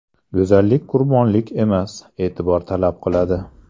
Go‘zallik qurbonlik emas, e’tibor talab qiladi.